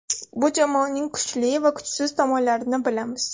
Bu jamoaning kuchli va kuchsiz tomonlarini bilamiz.